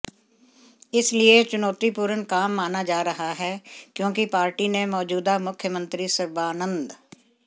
इसलिए चुनौतीपूर्ण काम माना जा रहा है क्योंकि पार्टी ने मौजूदा मुख्यमंत्री सर्बानंद